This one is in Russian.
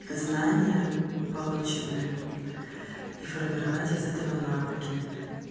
знания полученные и формировать из этого навыки